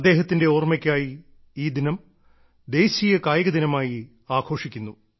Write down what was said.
അദ്ദേഹത്തിന്റെ ഓർമ്മയ്ക്കായി ഈ ദിനം ദേശീയ കായിക ദിനമായി ആഘോഷിക്കുന്നു